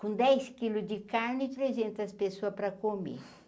Com dez quilos de carne e trezentas pessoas para comer.